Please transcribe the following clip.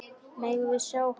Megum við sjá hann!